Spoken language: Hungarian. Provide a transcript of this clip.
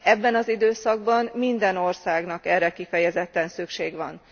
Ebben az időszakban minden országnak erre kifejezetten szüksége van.